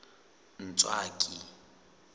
ntswaki